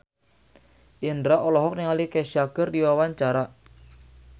Indro olohok ningali Kesha keur diwawancara